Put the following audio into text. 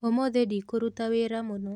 ũmũthĩ ndikũruta wĩra mũno